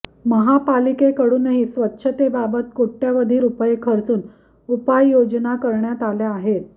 महापालिकेकडूनही स्वच्छतेबाबत कोट्यवधी रुपये खर्चून उपाययोजना करण्यात आल्या आहेत